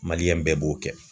Maliyɛn bɛɛ b'o kɛ